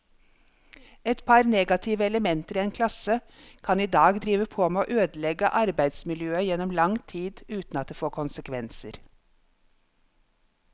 Et par negative elementer i en klasse kan i dag drive på med å ødelegge arbeidsmiljøet gjennom lang tid uten at det får konsekvenser.